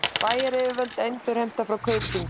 Bæjaryfirvöld endurheimta frá Kaupþingi